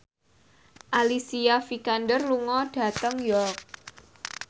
Alicia Vikander lunga dhateng York